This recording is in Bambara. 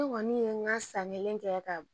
Ne kɔni ye ŋa san kelen kɛ ka